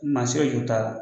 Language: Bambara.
Maa si ka juru t'a la.